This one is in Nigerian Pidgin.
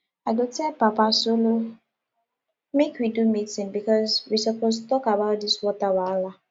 i go tell papa solo make we do meeting because we suppose talk about dis water wahala